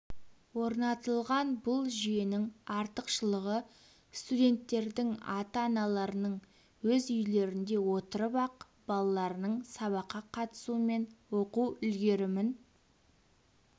орнатылған бұл жүйенің артықшылығы студенттердің ата-аналарының өз үйлерінде отырып-ақ балаларының сабаққа қатысуы мен оқу үлгерімін